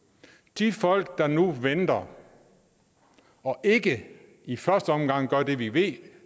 de folk der nu venter og ikke i første omgang gør det vi ved